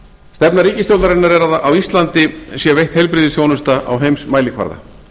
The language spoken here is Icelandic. stefna ríkisstjórnarinnar er að á íslandi sé veitt heilbrigðisþjónusta á heimsmælikvarða